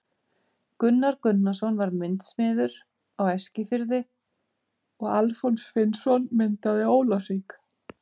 Gunnar Gunnarsson var myndasmiður á Eskifirði og Alfons Finnsson myndaði á Ólafsvík.